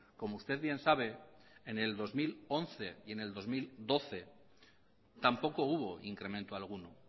como usted bien sabe en el dos mil once y en el dos mil doce tampoco hubo incremento alguno